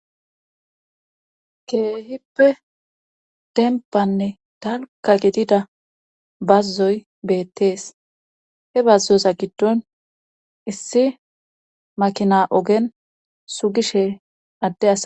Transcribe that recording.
keehippe dembbanne dalka gidida bazzoy beettees. he bazzoza giddon issi makina ogen sugishe adde asay